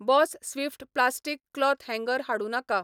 Boss Swift plastic cloth हँगर धाडूं नाका.